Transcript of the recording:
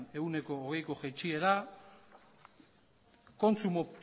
ehuneko hogeiko jaitsiera